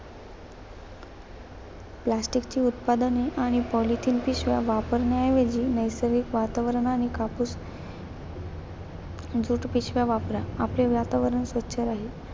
प्लास्टिकची उत्पादने आणि पॉलिथिन पिशव्या वापरण्याऐवजी नैसर्गिक वातावरण आणि कापूस ज्यूट पिशव्या वापरा, आपले वातावरण स्वच्छ राहील.